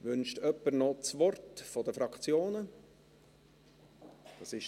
Wünscht jemand von den Fraktionen das Wort?